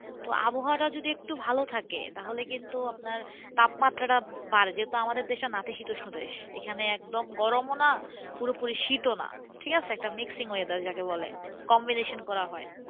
তো আবহাওয়াটা যদি একটু ভালো থাকে, তাহলে কিন্তু আপনার তাপমাত্রাটা বাড়ে। যেহেতু আমাদের দেশটা নাতিশীতোষ্ণ দেশ। এখানে একদম গরমও না পুরোপুরি শীতও না, ঠিকাছে? একটা mixing weather যাকে বলে, combination করা হয়।